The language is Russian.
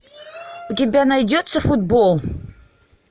у тебя найдется футбол